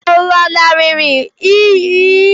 Ọ̀ lanarịrị iyi ahụ?